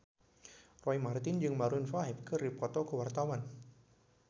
Roy Marten jeung Maroon 5 keur dipoto ku wartawan